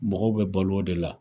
Mɔgɔw bɛ balo o de la.